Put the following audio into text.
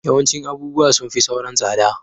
Yawancin abubuwa sun fi sauran tsada